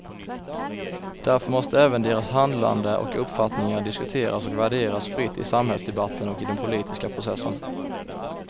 Därför måste även deras handlande och uppfattningar diskuteras och värderas fritt i samhällsdebatten och i den politiska processen.